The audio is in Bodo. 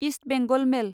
इस्ट बेंगल मेल